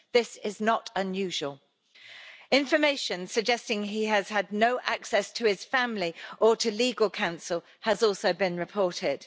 This is not unusual. Information suggesting he has had no access to his family or to legal counsel has also been reported.